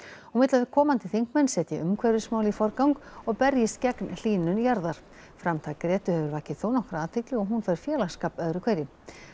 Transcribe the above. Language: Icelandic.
hún vill að komandi þingmenn setji umhverfismál í forgang og berjist gegn hlýnun jarðar framtak hefur vakið þónokkra athygli og hún fær félagsskap öðru hverju